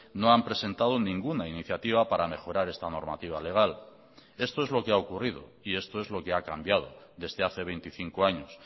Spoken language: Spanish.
no han presentado ninguna iniciativa para mejorar esta normativa legal esto es lo que ha ocurrido y esto es lo que ha cambiado desde hace veinticinco años